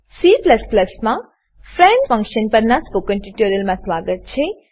C માં friend friend function પરનાં spoken ટ્યુટોરીયલમાં સ્વાગત છે